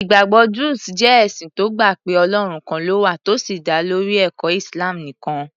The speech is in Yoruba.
Ìgbàgbọ́ Druze jẹ́ ẹ̀sìn tó gbà pé Ọlọ́run kan ló wà tó sì dá lórí ẹ̀kọ́ Islam nìkan.